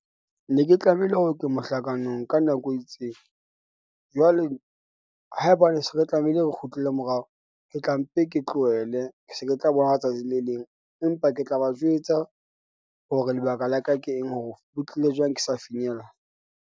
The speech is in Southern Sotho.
Ne ke tlamehile hore ke mohlakano ka nako e itseng. Jwale haebane se re tlamehile, re kgutlele morao, ke tla mpe, ke tlohele ke se ke tla boha tsatsi le leng empa ke tla ba jwetsa hore lebaka la ka ke eng hore ho tlile jwang, ke sa finyella.